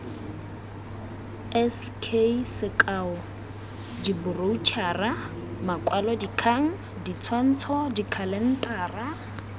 sk diboroutšhara makwalodikgang ditshwantsho dikhalentara